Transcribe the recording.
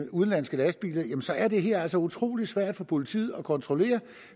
udenlandske lastbiler så er det her altså utrolig svært for politiet at kontrollere